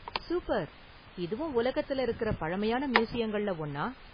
Super! இதுவும் உலகத்துல இருக்குற பழமையான மியூசியங்கள்ல ஒன்னா?